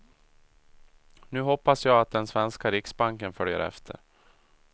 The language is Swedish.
Nu hoppas jag att den svenska riksbanken följer efter.